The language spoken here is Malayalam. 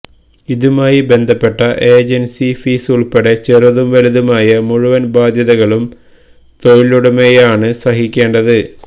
ഇതുമായി ബന്ധപ്പെട്ട ഏജന്സി ഫീസുള്പെടെ ചെറുതും വലുതുമായ മുഴുവന് ബാധ്യതകളും തൊഴിലുടമയാണ് സഹിക്കേണ്ടത്